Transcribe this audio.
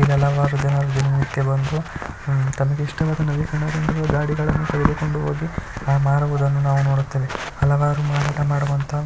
ದಿನನಿತ್ಯ ಬಂದು ಹ್ಮ್ ತಮಗಿಷ್ಟವಾದ ನವೀಕರಣಹೊಂದಿದ ಗಡಿಗಳನ್ನು ತೆಗೆದುಕೊಂಡು ಹೋಗಿ ಆಹ್ ಮಾರುವುದನ್ನು ನಾವು ನೋಡುತ್ತೇವೆ ಹಲವಾರು ಮಾರಾಟ ಮಾಡುವಂತಹ